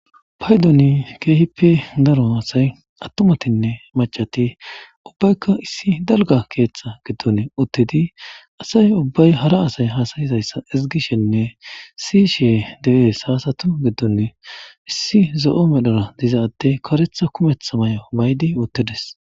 Paydoni keehippe daro haasay attumatinne macati ubbaykka issi dalga keeththa giddon uttidi asay ubbay hara asay hasayizayssa izgishenne si she de,es haasatu giddon issi zo,o medhora diza atte karetha kumetha may,o maydi uttides.